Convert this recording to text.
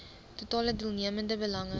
totale deelnemende belange